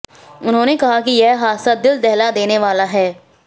उन्होंने कहा कि यह हादसा दिल दहला देने वाला है